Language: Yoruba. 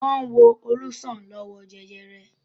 Wọ́n wo Olú sàn lọ́wọ́ jẹjẹrẹ.